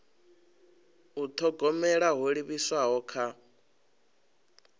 u thogomela ho livhiswaho kha